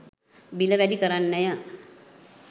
බිල වැඩි කරන්නය